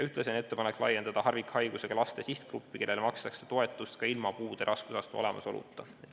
Ühtlasi on ettepanek laiendada harvikhaigusega laste sihtgruppi, kellele makstakse toetust ka ilma puude raskusastme olemasoluta.